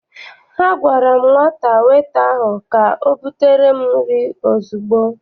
A gwara m nwata weta ahụ ka ọ butere m nri ozugbo!